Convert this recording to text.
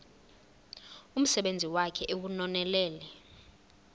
umsebenzi wakhe ewunonelele